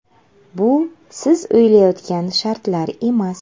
Bu siz o‘ylayotgan shartlar emas.